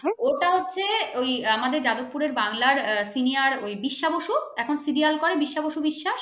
ওটা হছে আমাদের যাদবপুরের বাংলার senior ওই বিশ্বা বসু এখন serial করে বিশ্বা বশু বিশ্বাস ।